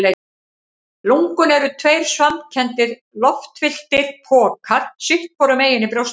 Lungun eru tveir svampkenndir, loftfylltir pokar sitt hvorum megin í brjóstholinu.